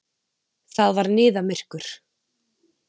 Það var niðamyrkur.